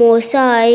মসাই